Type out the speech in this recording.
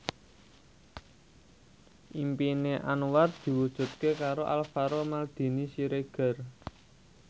impine Anwar diwujudke karo Alvaro Maldini Siregar